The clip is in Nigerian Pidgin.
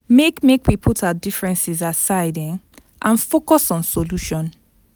Make Make we put our differences aside um and focus on solution.